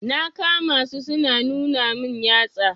Na kama su su na nuna min yatsa.